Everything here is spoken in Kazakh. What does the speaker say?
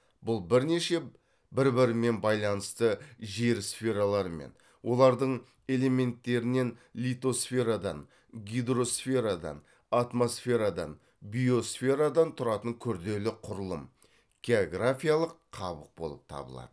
бұл бірнеше бір бірімен байланысты жер сфералары мен олардың элементтерінен литосферадан гидросферадан атмосферадан биосферадан тұратын күрделі құрылым географиялық қабық болып табылады